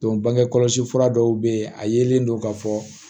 bange kɔlɔsi fura dɔw be yen a yelen don ka fɔ